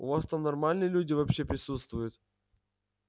у вас там нормальные люди вообще присутствуют